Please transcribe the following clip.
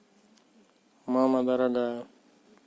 мама дорогая